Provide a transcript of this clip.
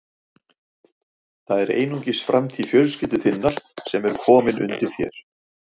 Guð fyrirgefi mér orðbragðið.